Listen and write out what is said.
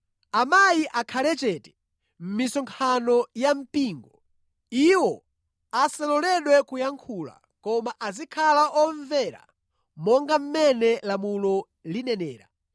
Amayi akhale chete mʼmisonkhano ya mpingo. Iwo asaloledwe kuyankhula, koma azikhala omvera monga mmene lamulo linenera.